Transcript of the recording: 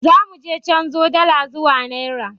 Za muje canzo dala zuwa nera.